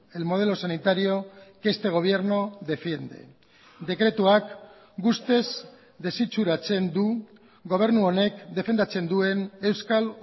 el modelo sanitario que este gobierno defiende dekretuak guztiz desitxuratzen du gobernu honek defendatzen duen euskal